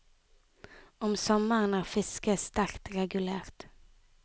Om sommeren er fisket sterkt regulert.